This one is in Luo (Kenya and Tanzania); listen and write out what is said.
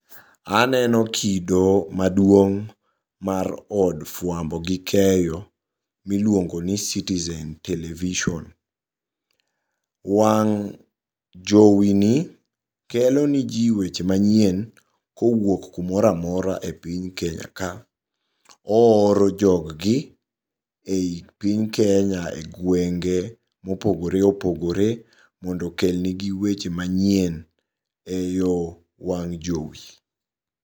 Aneno kido maduong' mar od fuambo gi keyo miluongoni Citizen television. Wang' jowini kelo ne jii weche manyien kowuok kumora amora e piny Kenya ka. Ooro jog gi e piny Kenya e gwenge mopogore opogore mondo okel negi weche manyien eyo wang' jowi.